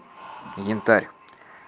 янтарь